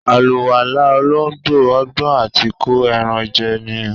Àlùwàlá olóńgbò, ọgbọ́n àti kó ẹran jẹ ní.